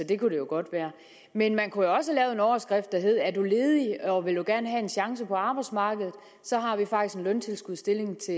det kunne det jo godt være men man kunne jo også have lavet en overskrift der hed er du ledig og vil du gerne have en chance på arbejdsmarkedet så har vi faktisk en løntilskudsstillling til